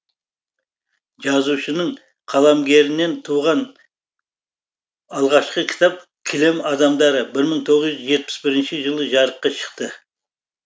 жазушының қаламгерінен туған алғашқы кітап кілем адамдары бір мың тоғыз жүз жетпіс бірінші жылы жарыққа шықты